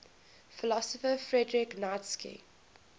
philosopher friedrich nietzsche